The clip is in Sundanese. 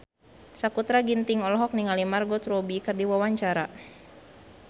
Sakutra Ginting olohok ningali Margot Robbie keur diwawancara